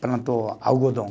plantou algodão.